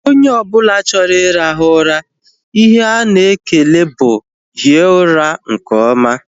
Onye ọbụla chọrọ irahu ụra, ihe ana ekele bụ hie ụra nke oma